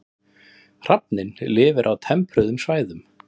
Hrafninn lifir á tempruðum svæðum.